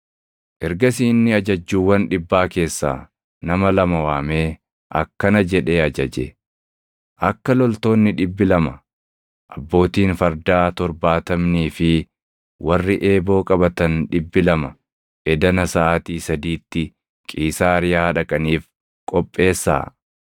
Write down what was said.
Ergasii inni ajajjuuwwan dhibbaa keessaa nama lama waamee akkana jedhee ajaje; “Akka loltoonni dhibbi lama, abbootiin fardaa torbaatamnii fi warri eeboo qabatan dhibbi lama edana saʼaatii sadiitti Qiisaariyaa dhaqaniif qopheessaa.